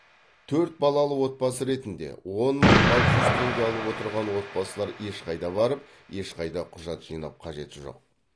төрт балалы отбасы ретінде он мың алты жүз теңге алып отырған отбасылар ешқайда барып ешқайда құжат жинап қажет жоқ